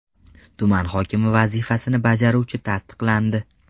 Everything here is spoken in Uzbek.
Tuman hokimi vazifasini bajaruvchi tasdiqlandi.